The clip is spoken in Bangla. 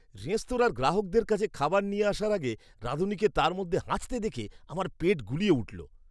রেস্তোরাঁর গ্রাহকদের কাছে খাবার নিয়ে আসার আগে রাঁধুনিকে তার মধ্যে হাঁচতে দেখে আমার পেট গুলিয়ে উঠল!